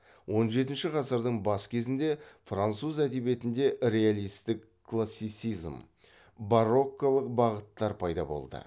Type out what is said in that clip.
он жетінші ғасырдың бас кезінде француз әдебиетінде реалистік классицизм барокколық бағыттар пайда болды